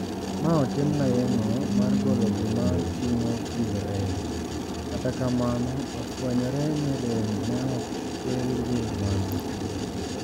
Ma otimna yeng`o mar golo gima ting`o chilo e ich, kata kamano ofwenyore ni rem ne ok kel gi mano.